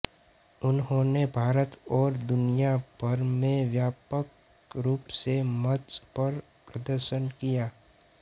उन्होंने भारत और दुनिया भर में व्यापक रूप से मंच पर प्रदर्शन किया है